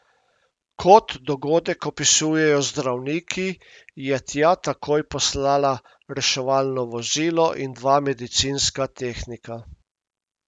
Kot dogodek opisujejo zdravniki, je tja takoj poslala reševalno vozilo in dva medicinska tehnika.